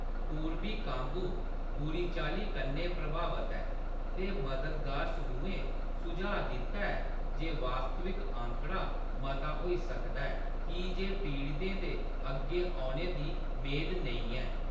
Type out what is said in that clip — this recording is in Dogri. पूर्बी कांगो बुरी चाल्ली कन्नै प्रभावत ऐ, ते मददगार समूहें सुझाऽ दित्ता ऐ जे वास्तविक आंकड़ा मता होई सकदा ऐ की जे पीड़ितें दे अग्गें औने दी मेद नेईं ऐ।